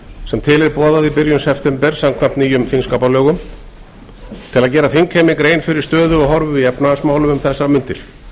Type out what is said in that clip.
sem til er boðað í byrjun september samkvæmt nýjum þingskapalögum til að gera þingheimi grein fyrir stöðu og horfum í efnahagsmálum um þessar mundir tel